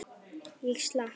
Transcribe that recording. Ég slapp.